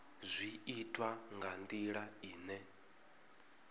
zwi itwa nga ndila ine